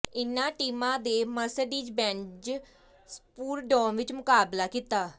ਇਨ੍ਹਾਂ ਟੀਮਾਂ ਨੇ ਮਰਸਡੀਜ਼ ਬੈਂਜ ਸੁਪਰਡੋਮ ਵਿਚ ਮੁਕਾਬਲਾ ਕੀਤਾ